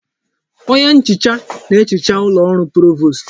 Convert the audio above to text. Onye nhicha na ehicha ụlọ ọrụ Provost.